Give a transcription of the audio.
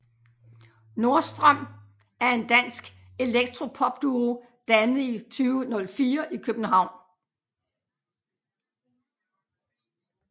Nordstrøm er en dansk elektropopduo dannet i 2004 i København